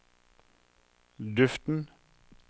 duften